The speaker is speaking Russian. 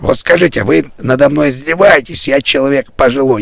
вот скажите вы надо мной издеваетесь я человек пожилой